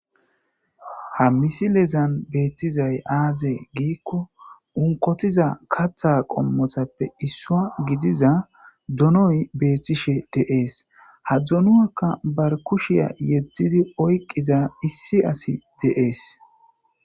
ha misilezan beettizay aaze giikko unkotiza katha qommotappe issua gidiza donoy beethtishe deees ha dzunuakka bar kushiya yeddidi oyqiza issi asi deees